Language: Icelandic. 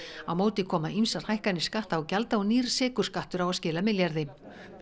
á móti koma ýmsar hækkanir skatta og gjalda og nýr sykurskattur á að skila milljarði